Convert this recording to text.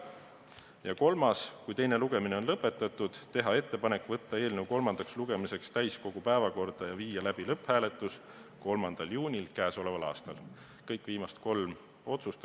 Ja kolmas konsensuslik otsus: kui teine lugemine on lõpetatud, teha ettepanek võtta eelnõu kolmandaks lugemiseks täiskogu päevakorda 3. juuniks ja teha siis ka lõpphääletus.